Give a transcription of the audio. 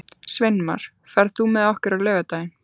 Sveinmar, ferð þú með okkur á laugardaginn?